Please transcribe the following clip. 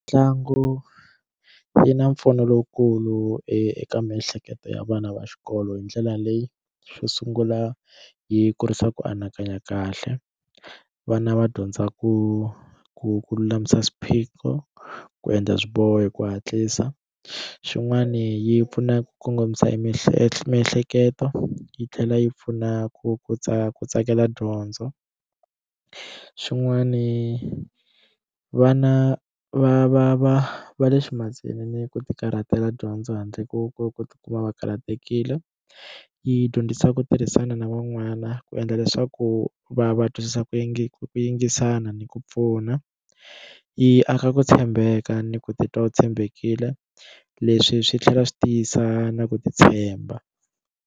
Mitlangu yi na mpfuno lowukulu eka miehleketo ya vana va xikolo hi ndlela leyi xo sungula yi kurisa ku anakanya kahle vana va dyondza ku ku ku lulamisa swiphiqo ku endla swiboho hi ku hatlisa xin'wani yi pfuna ku kongomisa miehleketo miehleketo yi tlhela yi pfuna ku tsaka ku tsakela dyondzo xin'wani vana va va va va le swiphazeni ku ti karhatela dyondzo handle ko ku ku tikuma va karhatekile yi dyondzisa ku tirhisana na van'wana na ku endla leswaku va va twisisa ku yingisa ku yingisana ni ku pfuna yi aka ku tshembeka ni ku titwa u tshembekile leswi swi tlhela swi tiyisa na ku titshemba.